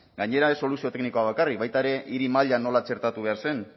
gainera ez soluzio teknikoa bakarrik baita ere hiri mailan nola txertatu behar zen